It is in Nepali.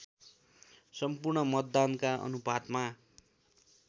सम्पूर्ण मतदानका अनुपातमा